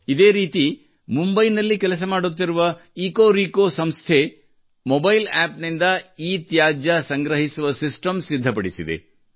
ಇದೇ ರೀತಿ ಮುಂಬೈನಲ್ಲಿ ಕೆಲಸ ಮಾಡುತ್ತಿರುವ ಎಕೊರೆಕೊ ಇಕೋ ರೀಕೋ ಸಂಸ್ಥೆಯು ಮೊಬೈಲ್ App ನಿಂದ ಇತ್ಯಾಜ್ಯ ಸಂಗ್ರಹಿಸುವ ಸಿಸ್ಟಂ ಸಿದ್ಧಪಡಿಸಿದೆ